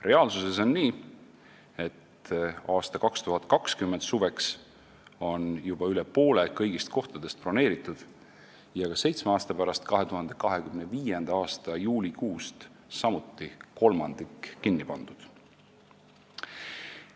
Reaalsus on selline, et 2020. aasta suveks on juba üle poole kõigist kohtadest broneeritud ja samuti on seitsme aasta pärast, 2025. aasta juulikuust kolmandik kohtadest kinni pandud.